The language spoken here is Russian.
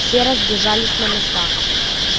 все разбежались на места